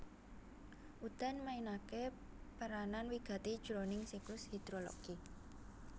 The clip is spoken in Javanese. Udan mainaké peranan wigati jroning siklus hidrologi